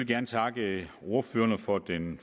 gerne takke ordførerne for den